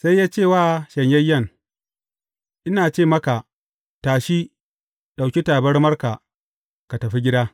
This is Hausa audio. Sai ya ce wa shanyayyen, Ina ce maka, tashi, ɗauki tabarmarka, ka tafi gida.